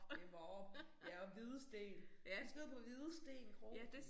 Det Vorup ja og Hvidsten. Vi skal ud på Hvidsten Kro